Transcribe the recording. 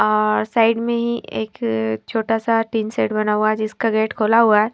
और साइड में ही एक छोटा सा टीन शेड बना हुआ है जिसका गेट खोला हुआ है।